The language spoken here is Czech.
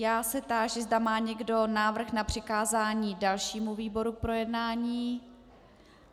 Já se táži, zda má někdo návrh na přikázání dalšímu výboru k projednání.